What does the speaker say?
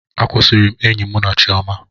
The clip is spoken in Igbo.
Akwusiri m enyi mụ na Chiọma.